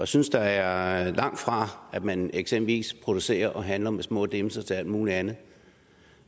synes der er langt fra at man eksempelvis producerer og handler med små dimser til alt muligt andet